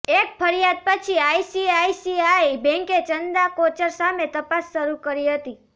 એક ફરિયાદ પછી આઈસીઆઈસીઆઈ બેન્કે ચંદા કોચર સામે તપાસ શરૂ કરી હતી